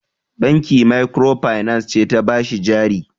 Banki makirofainans ce ta ba shi jari.